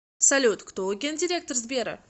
салют кто гендиректор сбера